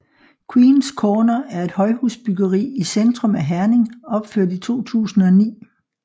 Queens Corner er et højhusbyggeri i centrum af Herning opført i 2009